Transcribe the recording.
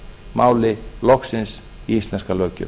máli loksins í íslenska löggjöf